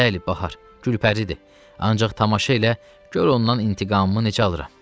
Bəli, Bahar, Gülpəridir, ancaq tamaşa ilə gör ondan intiqamımı necə alıram.